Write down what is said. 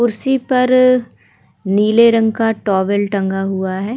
कुर्सी पर नीले रंग का एक टॉवेल टंगा हुआ हैं।